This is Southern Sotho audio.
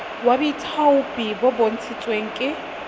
wa boithaopi o bontshitsweng ke